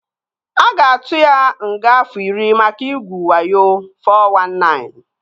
A ga-atu ya nga afọ iri maka igwu wayo (419)